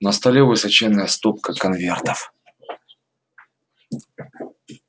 на столе высоченная стопка конвертов